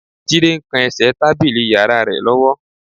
Jídé ń kan ẹsẹ̀ tábìlì yàrá rẹ̀ lọ́wọ́